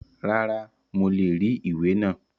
Rárá, mo le rí ìwé náà.